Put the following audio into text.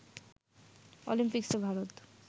অলিম্পিকসে Bharat